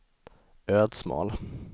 Ödsmål